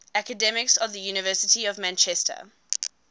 academics of the university of manchester